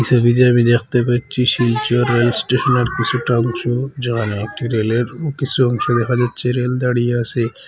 ছবিতে আমি দেখতে পাচ্ছি শিলচর রেল স্টেশন -এর কিছুটা অংশ যেখানে একটি রেল -এর কিসু অংশ দেখা যাচ্ছে রেল দাঁড়িয়ে আসে।